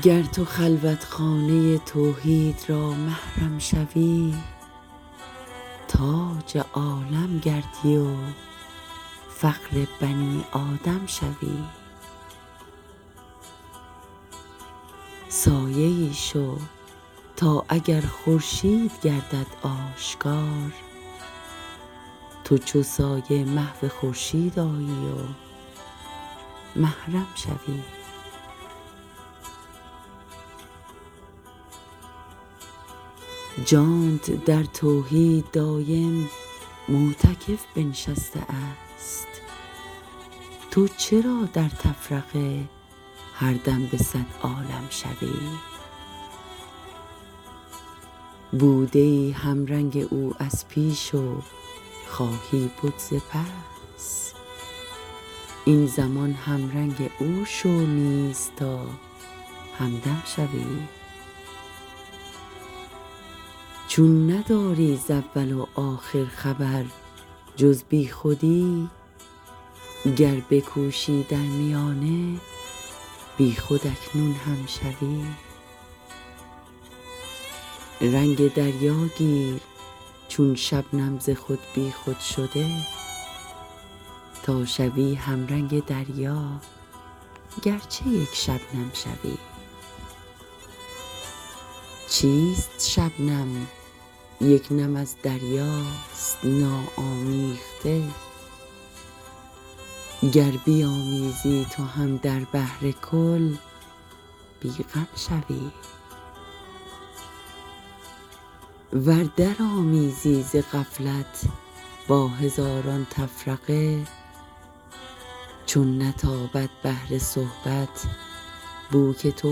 گر تو خلوتخانه توحید را محرم شوی تاج عالم گردی و فخر بنی آدم شوی سایه ای شو تا اگر خورشید گردد آشکار تو چو سایه محو خورشید آیی و محرم شوی جانت در توحید دایم معتکف بنشسته است تو چرا در تفرقه هر دم به صد عالم شوی بوده ای همرنگ او از پیش و خواهی بد ز پس این زمان همرنگ او شو نیز تا همدم شوی چون نداری ز اول و آخر خبر جز بیخودی گر بکوشی در میانه بیخود اکنون هم شوی رنگ دریا گیر چون شبنم ز خود بیخود شده تا شوی همرنگ دریا گرچه یک شبنم شوی چیست شبنم یک نم از دریاست ناآمیخته گر بیامیزی تو هم در بحر کل بی غم شوی ور در آمیزی ز غفلت با هزاران تفرقه چون نتابد بحر صحبت بو که تو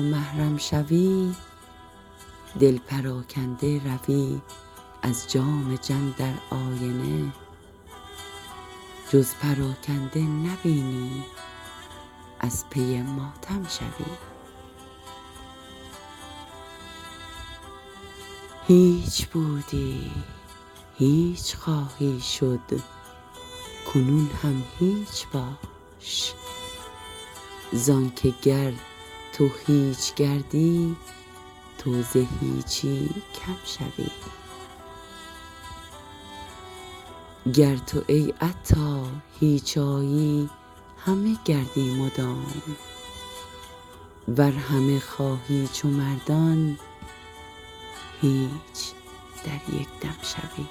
محرم شوی دل پراکنده روی از جام جم در آینه جز پراکنده نبینی از پی ماتم شوی هیچ بودی هیچ خواهی شد کنون هم هیچ باش زانکه گر تو هیچ گردی تو ز هیچی کم شوی گر تو ای عطار هیچ آیی همه گردی مدام ور همه خواهی چو مردان هیچ در یک دم شوی